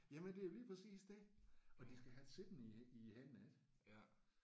Jamen det er jo lige præcis det og de skal have det siddende i i hænderne ik